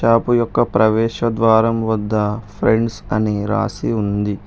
Shop యొక్క ప్రవేశ ద్వారం వద్ద ఫ్రెండ్స్ అని రాసి ఉంది.